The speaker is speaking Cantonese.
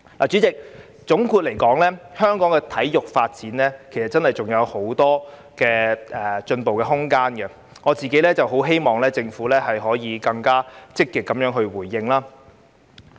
主席，總括而言，香港的體育發展真的還有很多進步空間，我很希望政府可以更積極回應。